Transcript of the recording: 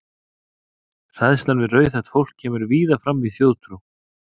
Hræðsla við rauðhært fólk kemur víða fram í þjóðtrú.